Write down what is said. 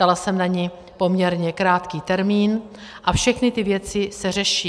Dala jsem na ni poměrně krátký termín a všechny ty věci se řeší.